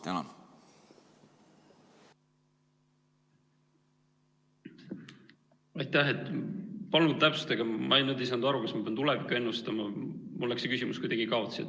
Palun täpsustage, ma nüüd ei saanud aru, kas ma pean tulevikku ennustama, mul läks see küsimus kuidagi kaotsi.